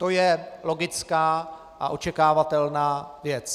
To je logická a očekávatelná věc.